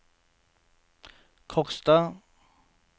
Kokstad